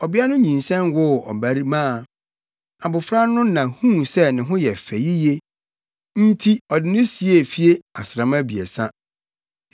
Ɔbea no nyinsɛn woo abarimaa. Abofra no na huu sɛ ne ho yɛ fɛ yiye nti ɔde no siee fie asram abiɛsa.